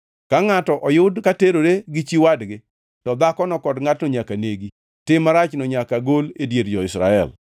Ka ngʼato oyud ka terore gi chi wadgi, to dhakono kod ngʼatno nyaka negi. Tim marachno nyaka gol e dier jo-Israel.